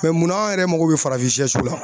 Mɛ munna anw yɛrɛ mako bɛ farafin sɛ siw la